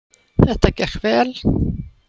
Þetta gekk vel